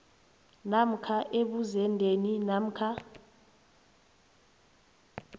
namkha ebuzendeni namkha